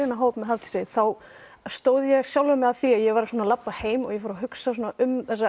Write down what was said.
þennan hóp með Hafdísi þá stóð ég sjálfa mig að því að ég var að labba heim og ég fór að hugsa um þessa